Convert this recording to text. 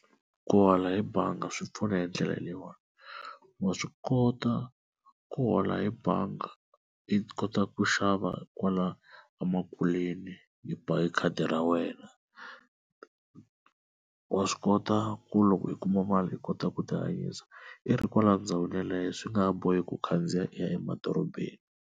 Ku hola hi banga swi pfuna hi ndlela leyiwani wa swi kota ku hola hi bangi i kota ku xava kwala emakuleni hi ba hi khadi ra wena wa swi kota ku loko i kuma mali i kota ku tihanyisa i ri kwala ndhawini yaleyo swi nga bohi ku khandziya i ya emadorobeni.